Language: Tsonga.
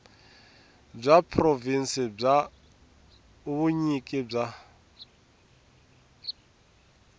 bya provhinsi bya vunyiki bya